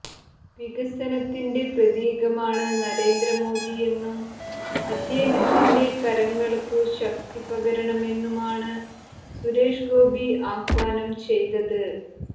വികസനത്തിന്റെ പ്രതീകമാണ് നരേന്ദ്ര മോദിയെന്നും അദ്ദേഹത്തിന്റെ കരങ്ങൾക്കു ശക്തി പകരണമെന്നുമാണ് സുരേഷ് ഗോപി ആഹ്വാനം ചെയ്തത്